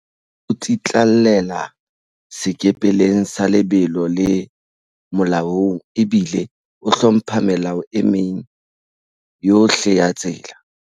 O tsitlallela sekepeleng sa lebelo le molaong ebile o hlompha melao e meng yohle ya tsela.